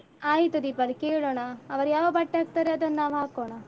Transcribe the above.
ಆಯ್ತು ದೀಪಾಲಿ ಕೇಳೋಣ. ಅವರು ಯಾವ ಬಟ್ಟೆ ಹಾಕ್ತರೆ ಅದನ್ನ್ ನಾವ್ ಹಾಕೋಣ.